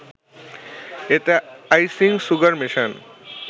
এতে icing sugar মেশান